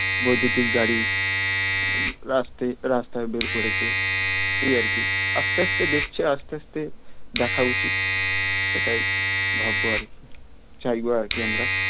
বৈদ্যূতিক গাড়ি রাস্তায় বের করেছে এই আর কি আস্তে আস্তে দেখছে আস্তে আস্তে দেখা উচিত এটাই ভাববো আর কি চাইবো আর কি আমরা